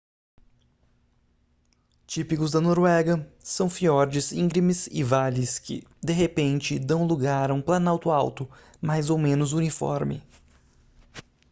típicos da noruega são fiordes íngremes e vales que de repente dão lugar a um planalto alto mais ou menos uniforme